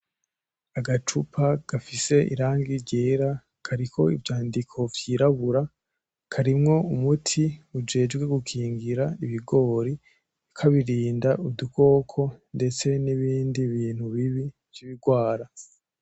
Agacupa gafise irangi ryera kariko ivyandiko vyirabura ,karimwo umuti ujejwe gukingira ibigori kabirinda udukoko ndetse nibindi bintu bibi vyibigwara .